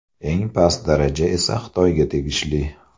Eng past daraja esa Xitoyga tegishli.